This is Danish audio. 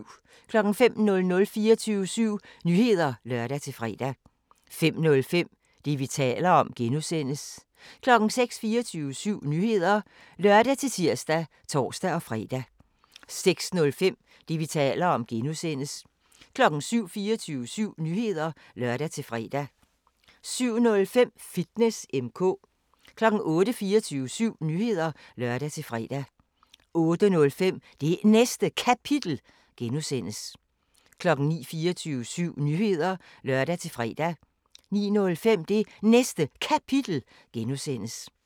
05:00: 24syv Nyheder (lør-fre) 05:05: Det, vi taler om (G) 06:00: 24syv Nyheder (lør-tir og tor-fre) 06:05: Det, vi taler om (G) 07:00: 24syv Nyheder (lør-fre) 07:05: Fitness M/K 08:00: 24syv Nyheder (lør-fre) 08:05: Det Næste Kapitel (G) 09:00: 24syv Nyheder (lør-fre) 09:05: Det Næste Kapitel (G)